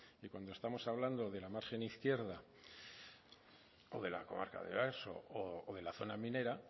que cuando estamos hablando de la margen izquierda de la comarca de oarsoaldea o de la zona minera